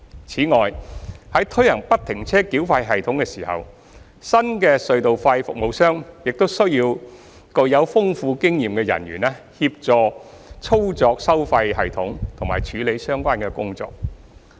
此外，在推行不停車繳費系統時，新的隧道費服務商亦需要具豐富經驗的人員協助操作收費系統及處理相關工作。